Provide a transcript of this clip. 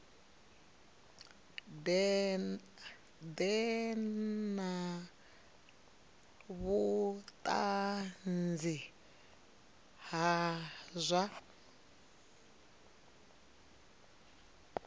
ḓe na vhuṱanzi ha zwa